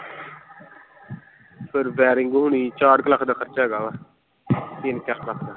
ਫਿਰ ਵੈਰਿੰਗ ਹੋਣੀ ਚਾਰ ਕ ਲੱਖ ਦਾ ਖਰਚਾ ਹੈਗਾ ਵਾ, ਤਿੰਨ ਚਾਰ ਲੱਖ ਦਾ।